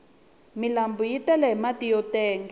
milanbu yi tele hi mati yo tenga